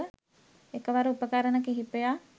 එකවර උපකරණ කිහිපයක්